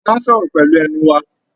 A máa n sọ̀rọ̀ pẹlu ẹnu wá.